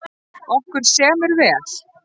Okkur semur vel